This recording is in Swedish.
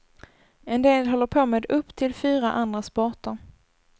En del håller på med upp till fyra andra sporter.